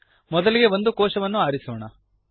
ಮೊದಲಿಗೆ ಒಂದು ಕೋಶವನ್ನು ಆರಿಸೋಣ